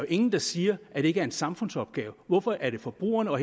ingen der siger at det ikke er en samfundsopgave hvorfor er det forbrugerne og